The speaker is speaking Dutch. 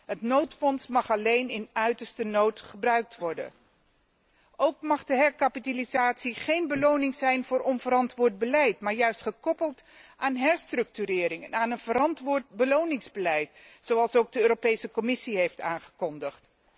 Het noodfonds mag alleen in uiterste nood gebruikt worden. Ook mag de herkapitalisatie geen beloning zijn voor onverantwoord beleid, maar moet ze juist gekoppeld worden aan herstructurering en een verantwoord beloningsbeleid, zoals ook de Commissie heeft aangekondigd.